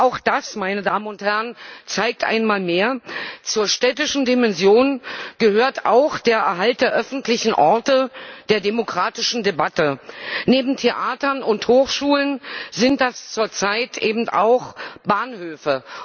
Auch das, meine Damen und Herren, zeigt einmal mehr Zur städtischen Dimension gehört auch der Erhalt der öffentlichen Orte der demokratischen Debatte. Neben Theatern und Hochschulen sind das zurzeit eben auch Bahnhöfe.